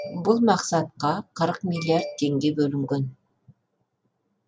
бұл мақсатқа қырық миллиард теңге бөлінген